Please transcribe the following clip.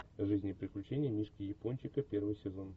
жизнь и приключения мишки япончика первый сезон